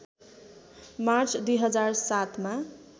March २००७ मा